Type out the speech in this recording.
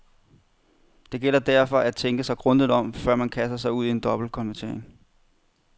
Det gælder derfor at tænke sig grundigt om, før man kaster sig ud i en dobbeltkonvertering.